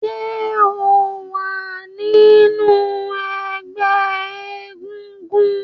ṣe o wá nínú egbé egúngún?